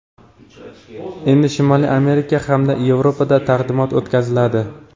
Endi Shimoliy Amerika hamda Yevropada taqdimot o‘tkaziladi.